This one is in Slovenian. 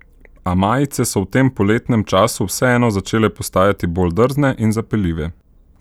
A majice so v tem poletnem času vseeno začele postajati bolj drzne in zapeljive.